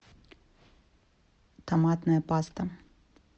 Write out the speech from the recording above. томатная паста